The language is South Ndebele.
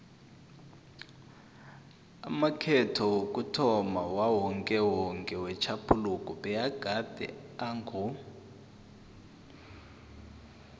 amakhetho wokuthomma wakawokewoke wetjhaphuluko abegade ango